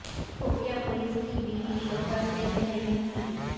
خفیہ پولیس کی بیوی شوہر سے کہہ رہی تھی